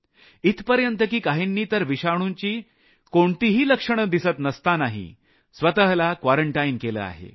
इथपर्यंत की काहींनी तर विषाणुची कोणतीही लक्षणं दिसत नसतानाही स्वतःला क्वारंटाईन केलं आहे